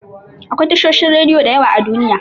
Akwai tashoshin rediyo da yawa a Duniya.